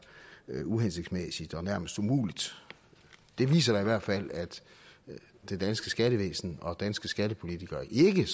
uhensigtsmæssigt og nærmest umuligt det viser da i hvert fald at det danske skattevæsen og de danske skattepolitikere ikke